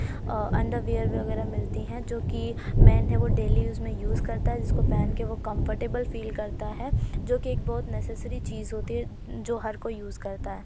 अ underwear वगैरा मिलती है और जो कि मैंन है वो डेली यूस मे युस करता है। जिसको पहेन के वो कम्फ्टबल फ़ील करता है जो कि एक बहोत नेसिसेरी चीज होती है ज-जो हर कोई यूस करता है।